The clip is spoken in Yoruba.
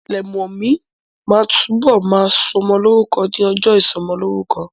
Lẹ̀mọ́mú ma túbọ̀ ma sọmọ lórúkọ ní ọjọ́ ìsọmọlórúkọ